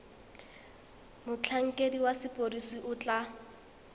motlhankedi wa sepodisi o tla